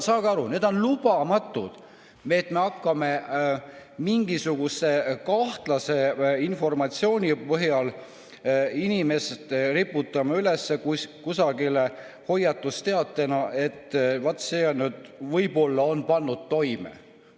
Saage aru, et on lubamatu, et me hakkame mingisuguse kahtlase informatsiooni põhjal riputama kusagile inimeste kohta üles hoiatusteateid, et vaat see on nüüd võib-olla pannud midagi toime.